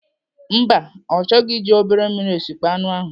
Mba, ọ chọghị iji obere mmiri esịkpo anụ ahụ.